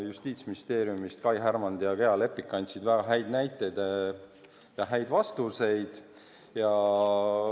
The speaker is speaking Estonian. Justiitsministeeriumist kohale tulnud Kai Härmand ja Gea Lepik tõid väga häid näiteid ja andsid häid vastuseid.